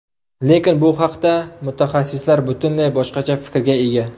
Lekin bu haqda mutaxassislar butunlay boshqacha fikrga ega.